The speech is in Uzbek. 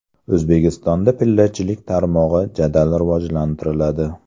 O‘zbekistonda pillachilik tarmog‘i jadal rivojlantiriladi.